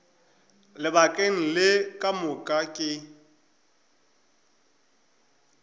lebakeng le ka moka ke